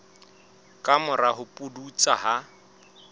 ka mora ho pudutsa ha